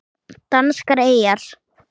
Danskar eyjar